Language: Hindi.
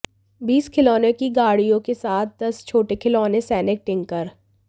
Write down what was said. बीस खिलौनों की गाड़ियों के साथ दस छोटे खिलौने सैनिक टिंकर